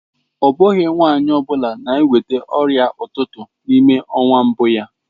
Ọ bụghị nwanyị ọ bụla na-enweta ọrịa ụtụtụ n'ime ọnwa mbụ ya.